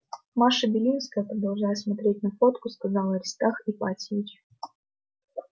маша белинская продолжая смотреть на фотку сказал аристарх ипатьевич